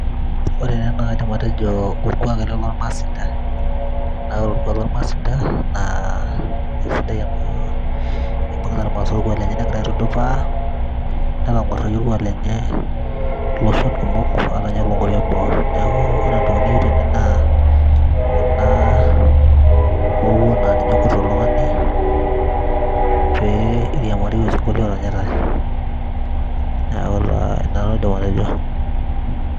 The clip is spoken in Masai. ore teena naa kaidim atejo orkuak ele lormaasinta naa ore orkuak lormaasinta naa esidai amu ibung'ita irmasae orkuak lenye negira aitudupaa netang'uarraki olkuak lenye iloshon kumok ata ninye lonkuapi eboo neku ore entoki niyieu tene naa ena mowuo naa ninye ekut oltung'ani pee iriamarie osinkolio oranyitae neeku taa ina nanu aidim atejo.